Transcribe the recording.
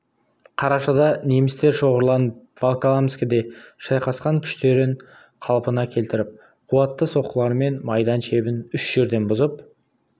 қарашада немістер шоғырланып волоколамскіде шайқасқан күштерін қалпына келтіріп қуатты соққылармен майдан шебін үш жерден бұзып